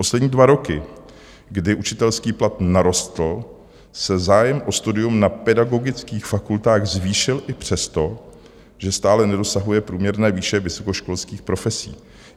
Poslední dva roky, kdy učitelský plat narostl, se zájem o studium na pedagogických fakultách zvýšil i přesto, že stále nedosahuje průměrné výše vysokoškolských profesí.